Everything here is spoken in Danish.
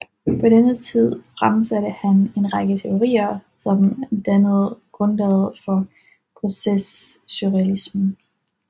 På denne tid fremsatte han en række teorier som dannede grundlaget for processualismen